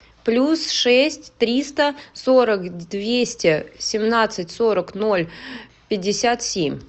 плюс шесть триста сорок двести семнадцать сорок ноль пятьдесят семь